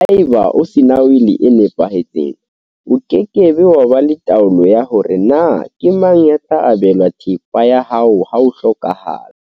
Haeba o sena wili e nepahetseng, o ke ke wa ba le taolo ya hore na ke mang ya tla abelwa thepa ya hao ha o hlokaha la.